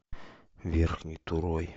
верхней турой